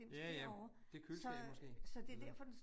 Ja ja, det køleskabet måske øh